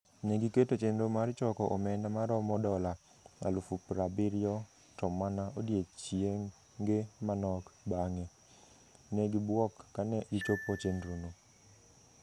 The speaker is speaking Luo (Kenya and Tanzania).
Ne giketo chenro mar choko omenda maromo dola 70,000, to mana odiechienge manok bang'e, ne gibwok kane gichopo chenrono.